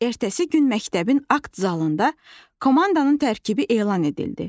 Ertəsi gün məktəbin akt zalında komandanın tərkibi elan edildi.